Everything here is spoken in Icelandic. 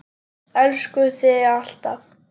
Elskum þig alltaf.